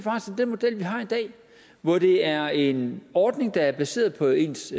den model vi har i dag hvor det er en ordning der er baseret på ens